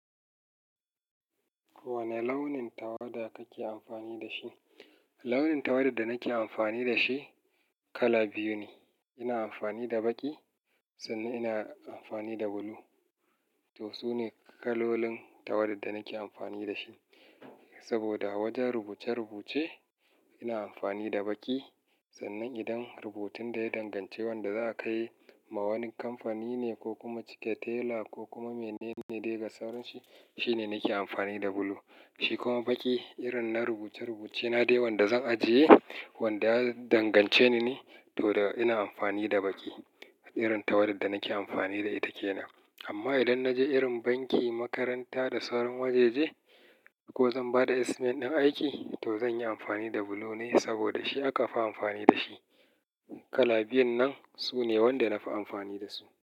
Wane launin tawada kake amfani da shi? Launin tawada da nake amfani da shi kala biyu ne. Ina amfani da baƙi sannan ina amfani da bulu. To su ne kalolin tawada da nake amfani da shi. Saboda wajen rubuce-rubuce ina amfani da baƙi sannan idan rubutun da ya dangance wanda za a kai ma wani kamfani ne ko kuma cike tela ko kuma menene dai ga sauran shi, shine nake amfani da bulu. Shi kuma baƙi irin na rubuce-rubuce na dai wanda zan ajiye wanda ya dangance ni ne to da ina amfani da baƙi. Irin tawada da nake amfani da ita ke nan. Amma idan na je irin banki, makaranta da sauran waje-je ko zan ba da estimate din aiki to zan yi amfani da bulu ne saboda shi aka fi amfani da shi. Kala biyun nan su ne wanda na fi amfani da su.